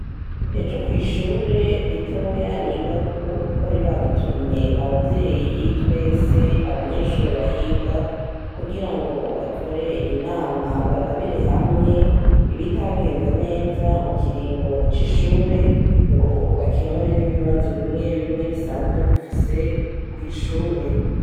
Ejo kw'ishuri ritoya nigako bari badutumye abavyeyi twese abanyeshuri bahiga kugirango bakore inama barabire hamwe ibitagenze neza mu kiringo c'ishure ngo bakemure n'ibibazo bimwe bimwe bisanzwe bifise kw'ishure.